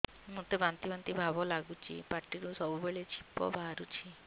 ମୋତେ ବାନ୍ତି ବାନ୍ତି ଭାବ ଲାଗୁଚି ପାଟିରୁ ସବୁ ବେଳେ ଛିପ ବାହାରୁଛି